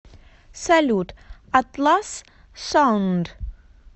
салют атлас саунд